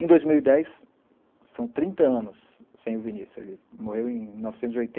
Em dois mil e dez, são trinta anos sem o Vinícius, ele morreu em mil novecentos e oitenta